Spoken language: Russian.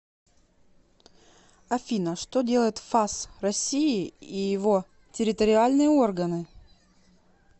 афина что делает фас россии и его территориальные органы